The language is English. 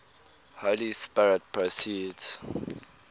holy spirit proceeds